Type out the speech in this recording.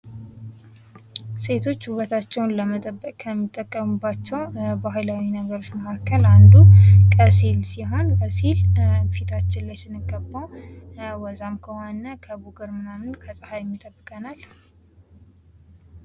ሴቶች ውበታቸውን ለመጠበቅ ከሚጠቀሙባቸው ባህላዊ ነገሮች መካከል አንዱ ቀሲስ ሰሆን ቀሲል ፊታችን ላይ ስንቀባው ወዛም ከሆነን ከቡግር ምናምን ከፀሐይ ይጠበቃል።